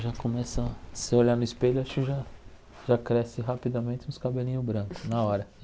Já começa se você olhar no espelho, acho que já já cresce rapidamente os cabelinhos brancos na hora.